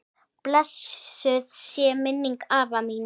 Blessuð sé minning afa míns.